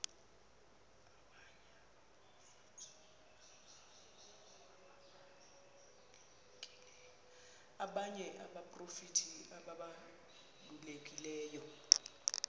abanye abaprofeti ababalulekileyo